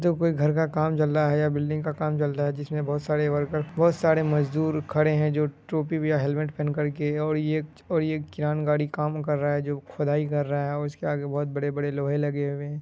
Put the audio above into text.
देखो कोई घर का काम चलता है या बिल्डिंग का काम चलता है जिसमें बोहोत सारे वर्कर बोहोत सारे मजदूर खड़े है जो टोपी बी या हेलमेट पहेन कर के और ये च और ये कियान गाड़ी काम कर रहा है खुदाई कर रहा है और इसके आगे बोहोत बड़े-बड़े लोहे लगे हुए है।